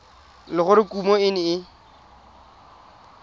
le gore kumo e ne